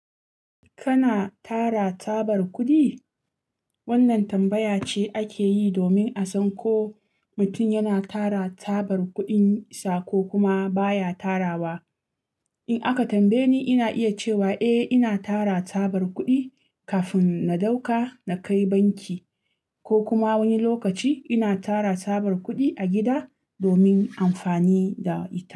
Kana tara tabar kuɗi? Wannan tambaya ce ake yi domin a san ko mutum yana tara tabar kuɗinsa ko kuma baya tarawa. In aka tambaye ni, ina iya cewa eh ina tara tabar kuɗi kafin na ɗauka na kai banki ko kuma wani lokaci ina tara tabar kuɗi a gida domin amfani da ita.